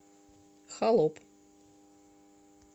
холоп